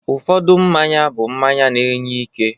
Ụfọdụ mmanya bụ mmanya na-enye ike